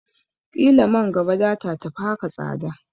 Ƙila man gaba data tafi haka tsada